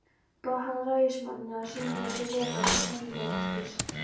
Bað hann ræðismanninn að sýna sér vegabréf til sannindamerkis.